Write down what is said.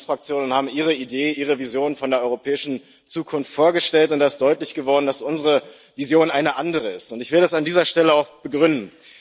Sie waren in der Linksfraktion und haben Ihre Idee, Ihre Vision von der europäischen Zukunft vorgestellt, und da ist deutlich geworden, dass unsere Vision eine andere ist. Ich will das an dieser Stelle auch begründen.